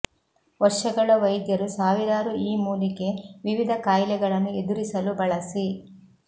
ವರ್ಷಗಳ ವೈದ್ಯರು ಸಾವಿರಾರು ಈ ಮೂಲಿಕೆ ವಿವಿಧ ಕಾಯಿಲೆಗಳನ್ನು ಎದುರಿಸಲು ಬಳಸಿ